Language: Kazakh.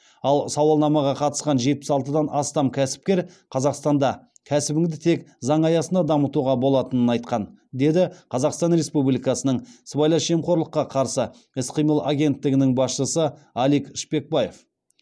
ал сауалнамаға қатысқан жетпіс алтыдан астам кәсіпкер қазақстанда кәсібіңді тек заң аясында дамытуға болатынын айтқан деді қазақстан республикасының сыбайлас жемқорлыққа қарсы іс қимыл агенттігінің басшысы алик шпекбаев